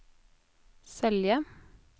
Selje